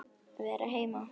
Vera heima.